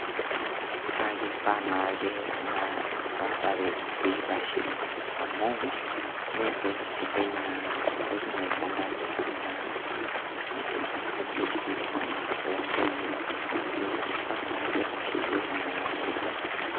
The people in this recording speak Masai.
Kake ifaa naake naa emuratare piitashe amu meentoki sidai naa entoki naikandamiza naa ena jinsia naa o ntoyie, naake ifaa naa piitasheyieki naa neija.